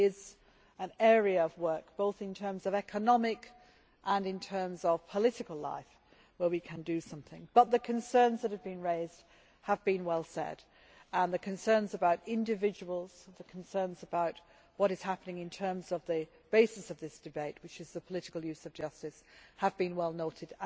It is an area of work, both in terms of economic life and in terms of political life, where we can do something. But the concerns that have been raised have been well said. The concerns about individuals and about what is happening in terms of the basis of this debate, which is the political use of justice, have been well noted.